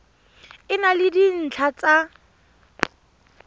e na le dintlha tsa